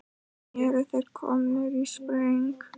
Eru þeir komnir í spreng?